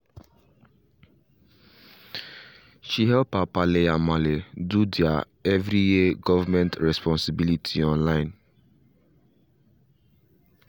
she help her palle and malle do their every year government responsibility online